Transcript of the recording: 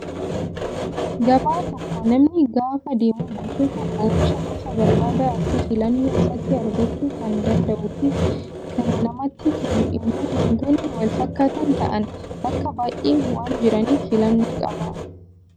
Gabaa tokko namni gaafa deemu gosoota oomishaa gosa barbaade akka filannoo isaatti argachuu kan danda'uu fi kana namatti tolu immoo wantoonni wal fakkaataa ta'an bakka baay'ee waan jiraniif filannoo qaba